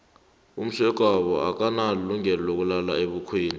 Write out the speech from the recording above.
umsegwabo akanalungelo lokulala ebukhweni